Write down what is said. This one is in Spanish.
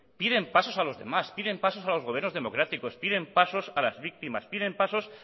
piden pasos a los demás piden pasos a los gobiernos democráticos piden pasos a las víctimas piden pasos